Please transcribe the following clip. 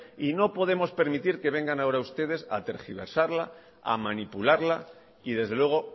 y no podemos permitir que vengan ahora ustedes a tergiversarla a manipularla y desde luego